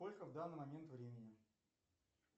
сколько в данный момент времени